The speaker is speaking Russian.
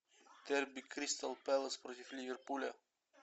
дерби кристал пэлас против ливерпуля